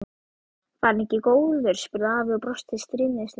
Var hann ekki góður? spurði afi og brosti stríðnislega.